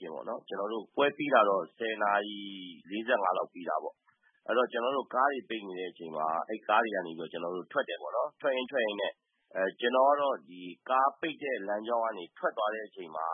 ကျင်ပေါ့နော်။ ကျနော်တို့ ပွဲပြီး တာတော့ ၁၀ နာရီ ၄၅ လောက်မှာ ပြီးတာပေါ့။ အဲတော့ ကျနော်တို့ ကားတွေပိတ်နေတဲ့ အချိန်မှာ ကားတွေကတော့ ကျနော်တို့ ထွက်တယ်ပေါ့နော်။ ထွက်ရင်း ထွက်ရင်းနဲ့ ကျနော်ကတော့ ကားပိတ်တဲ့ လမ်းကြောင်းကနေ ထွက်သွားတဲ့အချိန်မှာ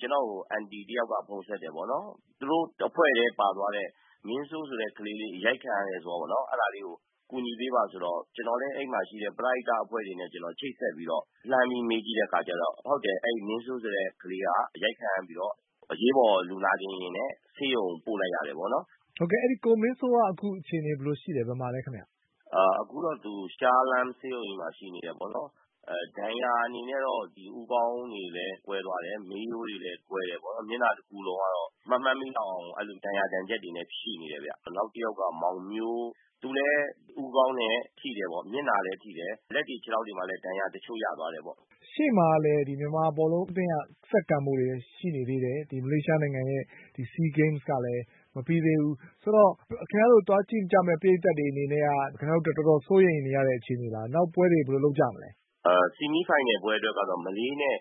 ကျနော့ကို အန်တီ တယောက်က ဖုန်းဆက်တယ်ပေါ့နော်။ သူတို့အဖွဲ့ထဲပါသွားတဲ့ မင်းစိုးဆိုတဲ့ ကလေးလေး အရိုက်ခံရတယ် ဆိုတာပေါ့။ အဲဒါကို အကူညီပေးပါဆိုတော့ ကျနော်လည်း အဲဒီမှာရှိတဲ့ ပရဟိတ အဖွဲ့တွေနဲ့ ကျနော် ချိတ်ဆက်ပြီးတော့ လှမ်းပြီး မေးကြည့်တဲ့ အခါကြတော့ ဟုတ်တယ် အဲဒီ မင်းစိုးဆိုတဲ့ ကလေးက အရိုက်ခံရပြီးတော့ အရေးပေါ်လူနာတင်ယာဉ်နဲ့ ဆေးရုံကို ပို့လိုက်ရတယ်ပေါ့နော်။ ဟုတ်ကဲ့ အဲဒီ ကိုမင်းစိုး အခုအခြေအနေဘယ်လိုရှိလည်း၊ အခုဘယ်မှာလည်းခင်ဗျ။ အခုတော့သူ ရှားလဟမ်း ဆေးရုံကြီးမှာ ရှိနေတယ်ပေါ့နော်။ ဒဏ်ရာအနေနဲ့တော့ ဦးခေါင်းတွေလည်း ကွဲသွားတယ်၊ မေးရိုးတွေလည်း ကွဲတယ်ပေါ့နော်။ မျက်နှာတခုလုံးကတော့ မမှတ်မိလောက်အောင် အဲလို ဒဏ်ရာဒဏ်ချက်တွေနဲ့ ရှိနေတယ်ဗျ။ နောက်တယောက်က မောင်မျိုး သူလည်း ဦးခေါင်းလည်း ထိတယ်ပေါ့။ မျက်နှာလည်းထိတယ် လက်တွေ ခြေထောက်တွေမှာလည်း ဒဏ်ရာတချို့ရသွားတယ်ပေါ့။ ရှေ့မှာလည်း မြန်မာဘောလုံး အသင်းက ဆက်ကန်ဖို့တွေလည်း ရှိနေသေးတယ်။ မလေးရှားနိုင်ငံရဲ့ဒီ SEA Games ကလည်း မပြီးသေးဘူး ဆိုတော့ ခင်ဗျားတို့ သွားကြည့်ကြမယ့် ပရိသတ်တွေအနေနဲ့က တော်တော်စိုးရိမ်နေရတဲ့ အခြေအနေလား နောက်ပွဲတွေ ဘယ်လိုလုပ်ကြမလဲ။ ဆီမီးဖိုင်နယ်ပွဲ အတွက်ကတော့ မလေးနဲ့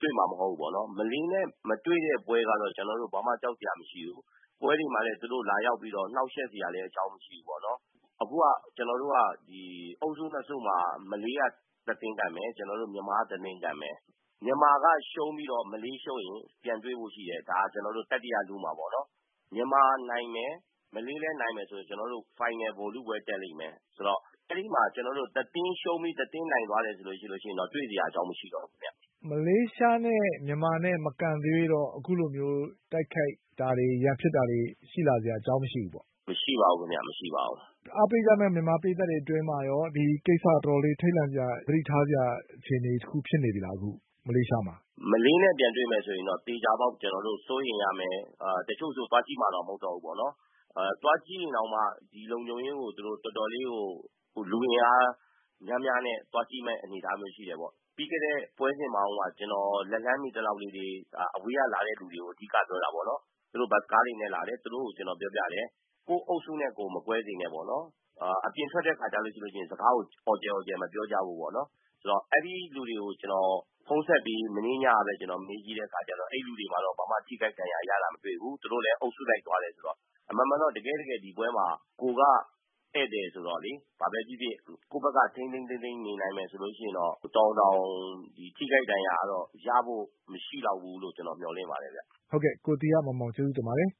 တွေ့မှာ မဟုတ်ဘူးပေါ့နော်။ မလေးနဲ့ မတွေ့တဲ့ ပွဲကတော့ ကျနော်တို့ ဘာမှ ကြောက်စရာမရှိဘူး။ ပွဲတွေမှာလည်း သူတို့လာရောက်ပြီး နှောက်ယှက်စရာ အကြောင်းမရှိဘူးပေါ့နော်။ အခုက ကျနော်တို့ကဒီ အုပ်စု ၂ စုမှာ မလေးက တသင်းကန်မယ်။ ကျနော်တို့ မြန်မာက တသင်းကန်မယ်။ မြန်မာက ရှုံးပြီး မလေးရှုံးရင် ပြန်တွေ့ဖို့ရှိတယ်။ ကျနော်တို့ တတိယ လု မှာပေါ့နော်။ မြန်မာနိုင်မယ်။ မလေးလည်း နိုင်မယ်ဆိုရင် ကျနော်တို့ ဖိုင်နယ် ဗိုလ်လုပွဲ တက်လိမ့်မယ်။ ဆိုတော့ အဲဒီမှာ ကျနော်တို့ တသင်းရှုံးပြီး တသင်းနိုင်သွားမယ် ဆိုလို့ရှိရင်တော့ တွေ့စရာ အကြောင်းမရှိတော့ဘူး။ မလေးရှားနဲ့ မြန်မာနဲ့ မကန်သရွေ့တော့ အခုလိုမျိုး တိုက်ခိုက်တာတွေ ရန်ဖြစ်တာတွေ ရှိလာစရာ အကြောင်းမရှိဘူးပေါ့။ မရှိပါဘူးခင်ဗျ။ မရှိပါဘူး။ အားပေးကြတဲ့ မြန်မာ ပရိသတ်အတွင်းမှာကော ဒီကိစ္စက တော်တော ်ထိတ်လန့်စရာ သတိထားစရာ အခြေအနေတခု ဖြစ်နေပြီလား အခု မလေးရှားမှာ။ မလေးနဲ့ပြန်တွေ့ မယ် ဆိုရင်တော့ သေချာပေါက် စိုးရိမ်ရမယ်။ တချို့ဆို သွားကြည့်မှာတောင် မဟုတ်တော့ဘူး ပေါ့နော်။ သွားကြည့်ရင်တောင်မှ ဒီလုံခြုံရေးကို တော်တော်လေးကို လူအင်အားများများနဲ့ သွားကြည့်မဲ့ အနေအထားမျိုး ရှိတယ်ပေါ့။ ပြီးခဲ့တဲ့ ပွဲစဉ်မှာတုံးက ကျနော် လက်လှမ်းမီ သလောက်လေးတွေ အဝေးကလာတဲ့ လူတွေကို အဓိကပြောတာပေါ့နော်။ သူတို့ ဘတ်စ်ကားတွေနဲ့လာတယ်။ သူတို့ကို ကျနော်ပြောပြတယ် ကိုယ့်အုပ်စုနဲ့ကိုယ် မကွဲစေနဲ့ပေါ့နော်။ အပြင်ထွက်တဲ့ အခါ ဆိုလို့ရှိရင် စကားကို အော်ကျယ်အော်ကျယ် မပြောကြဖို့ပေါ့နော်။ ဆိုတော့ အဲဒီလူတွေကို ကျနော်ဖုန်းဆက်ပြီး မနေ့ညကပဲ ကျနော ်မေးကြည့်တဲ့ အခါမှာတော့ အဲဒီလူတွေ ဘာမှ ထိခိုက်ဒဏ်ရာရတာ မတွေ့ဘူး။ သူတို့လည်း အုပ်စုလိုက် သွားတယ်ဆိုတော့ အမှန်မှာတော့ တကယ့်တကယ် ဒီပွဲမှာ ကိုယ်က ဧည့်သည်ဆိုတော့လေ။ ဘာပဲဖြစ်ဖြစ် ကိုယ့်ဘက်က ထိန်းထိန်းသိမ်းသိမ်း နေနိုင်မယ်ဆိုလို့ရှိရင် တော်ရုံတန်ရုံ ထိခိုက်ဒဏ်ရာ ကတော့ ရဖို့ မရှိလောက်ဘူးလို့ ကျနော် မျှော်လင့်ပါတယ်ဗျ။ ဟုတ်ကဲ့ ကိုသီဟမောင်မောင် ကျေးဇူးတင်ပါတယ်